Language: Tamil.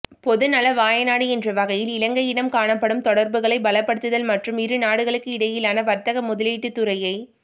பொதுநலவாய நாடு என்ற வகையில் இலங்கையிடன் காணப்படும் தொடர்புகளை பலப்படுத்துதல் மற்றும் இருநாடுகளுக்கிடையிலான வர்த்தக முதலீட்டுத் துறையை